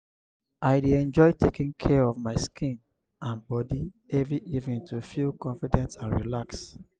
i dey enjoy taking care of my skin and body every evening to feel confident and relaxed.